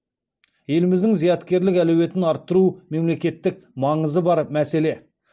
еліміздің зияткерлік әлеуетін арттыру мемлекеттік маңызы бар мәселе